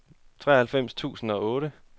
treoghalvfems tusind og otte